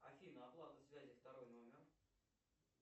афина оплата связи второй номер